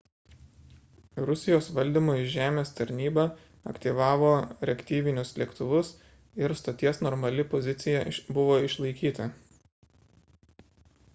rusijos valdymo iš žemės tarnyba aktyvavo reaktyvinius lėktuvus ir stoties normali pozicija buvo išlaikyta